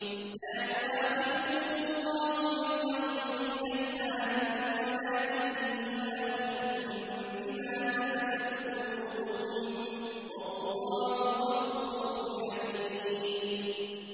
لَّا يُؤَاخِذُكُمُ اللَّهُ بِاللَّغْوِ فِي أَيْمَانِكُمْ وَلَٰكِن يُؤَاخِذُكُم بِمَا كَسَبَتْ قُلُوبُكُمْ ۗ وَاللَّهُ غَفُورٌ حَلِيمٌ